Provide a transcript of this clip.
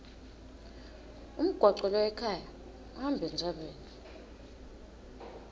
umgwaco loya ekhaya uhamba entsabeni